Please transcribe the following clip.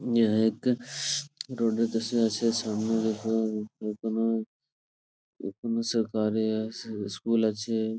রোদে বসে আছে সামনে দেখুন এখানে এখানে সরকারি আছে স্কুল আছে।